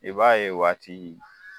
I b'a ye o waati